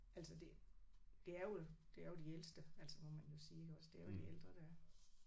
Altså det det er jo det er jo de ældste altså hvor man må sige iggås det er jo de ældre der